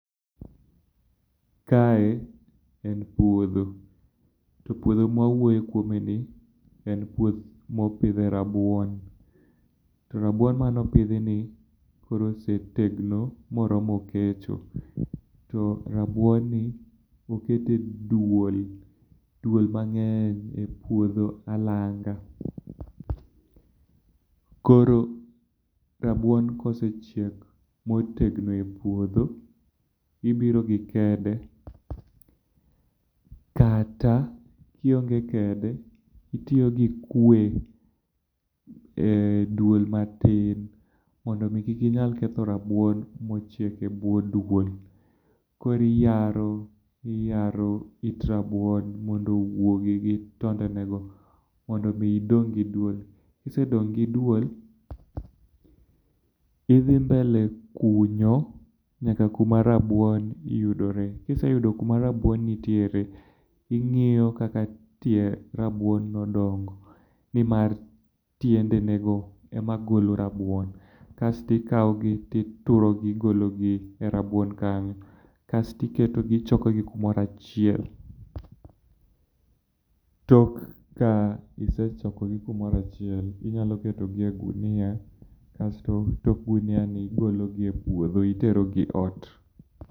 Kae en puodho. To puodha ma wawuoyom kuomeni, en puoth mopidhie rabuon. To rabuon ni, oket e duol. Duol mang'eny e puodho alanga. Koro rabuon kosechiek motegno epuodho, ibiro gi kede, kata kionge kede, itiyo gi kue eduol matin mondo mi kik inyal ketho rabuon mochiek ebwo dwol. Koro iyaro, iyaro it rabuon mondo owuogi gi tondenego, mondo mi idong' gi duol. Kisedong' gi duol, idhi mbele kunyo yaka kuma rabuon yudoreye. KIiseyudo kuma rabuon nitie, to ing'iyo kaka tie rabuon odongo, nimar tiendenego ema golo rabuon. Kas to ikawo gi, ituro gi, igologi e rabuon kanyo, kasto iketogi ichokogi kumoro achiel. Tok ka isechokogi kumoro achiel, inyalo ketogi e ogunia kasto igologi e puodho iterogi ot.